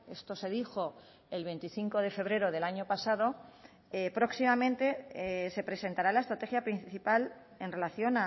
esto se dijo el veinticinco de febrero del año pasado próximamente se presentará la estrategia principal en relación